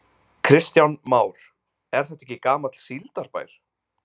Kristján Már: Er þetta ekki gamall síldarbær?